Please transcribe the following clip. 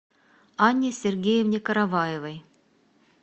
анне сергеевне караваевой